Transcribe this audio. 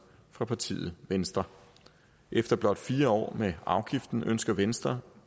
fra partiet venstre efter blot fire år med afgiften ønsker venstre